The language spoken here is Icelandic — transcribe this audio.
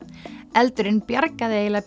eldurinn bjargaði eiginlega